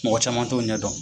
Mɔgɔ caman t'u ɲɛ dɔn.